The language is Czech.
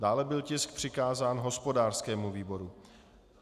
Dále byl tisk přikázán hospodářskému výboru.